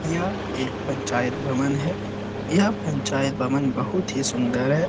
यह एक पंचायत भवन है यह पंचायत भवन बहुत ही सुंदर है।